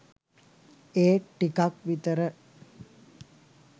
ඒත් ටිකක් විතර